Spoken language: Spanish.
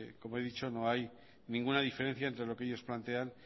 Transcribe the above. como he dicho no hay ninguna diferencia entre lo que ellos plantean